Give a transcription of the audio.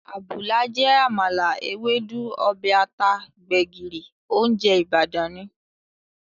Àbùlà jẹ́ àmàlà, Ewédú, ọbẹ̀ ata, gbẹ̀gìrì, óúnjẹ Ìbàdàn ni